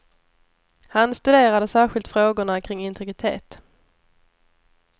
Han studerade särskilt frågorna kring integritet.